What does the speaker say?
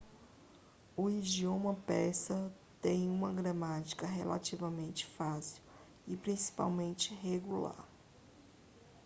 o idioma persa tem uma gramática relativamente fácil e principalmente regular